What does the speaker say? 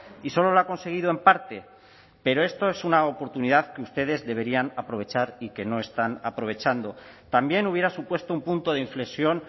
y solo lo ha conseguido en parte pero esto es una oportunidad que ustedes deberían aprovechar y que no están aprovechando también hubiera supuesto un punto de inflexión